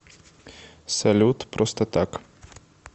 салют просто так